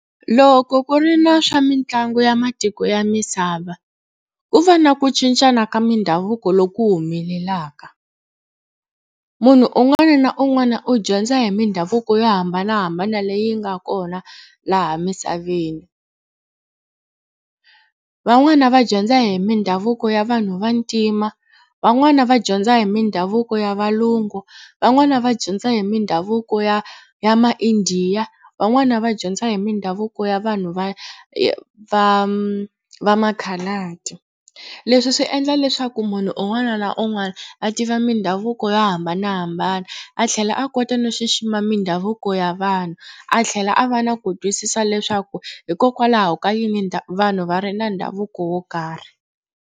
Loko ku ri na swa mitlangu ya matiko ya misava ku va na ku cincana ka mindhavuko loku humelelaka. Munhu un'wana na un'wana u dyondza hi mindhavuko yo hambanahambana leyi nga kona laha misaveni. Van'wani va dyondza hi mindhavuko ya vanhu vantima, van'wani va dyondza hi mindhavuko ya valungu, van'wani va dyondza hi mindhavuko ya ya maIndiya, van'wana va dyondza hi mindhavuko ya vanhu va va va ma-coloured. Leswi swi endla leswaku munhu un'wana na un'wana a tiva mindhavuko yo hambanahambana a tlhela a kota no xixima mindhavuko ya vanhu. A tlhela a va na ku twisisa leswaku hikokwalaho ka yini vanhu va ri na ndhavuko wo karhi.